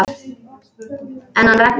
En hann Raggi?